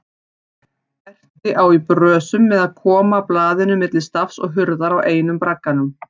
Berti á í brösum með að koma blaðinu milli stafs og hurðar á einum bragganum.